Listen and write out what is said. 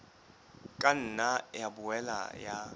ka nna ya boela ya